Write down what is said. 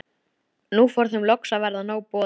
Nú fór þeim loks að verða nóg boðið.